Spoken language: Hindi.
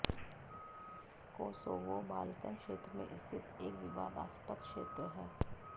कोसोवो बाल्कन क्षेत्र में स्थित एक विवादास्पद क्षेत्र है